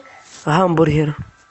гамбургер